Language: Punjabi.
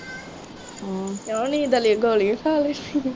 ਕਿਉਂ ਨੀ, ਗੋਲੀ ਖਾ ਲੈ।